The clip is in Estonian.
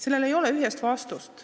Sellele ei ole ühest vastust.